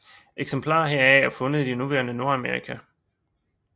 Eksemplarer heraf er fundet i det nuværende Nordamerika